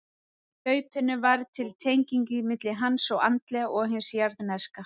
Með hlaupinu varð til tengingin milli hins andlega og hins jarðneska.